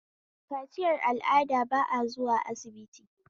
Kaciyar al'ada ba a zuwa sibiti